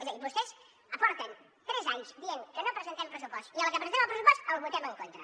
és a dir vostès porten tres anys dient que no presentem pressupost i a la que presentem el pressupost el voten en contra